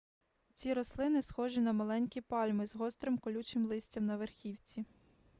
ці рослини схожі на маленькі пальми з гострим колючим листям на верхівці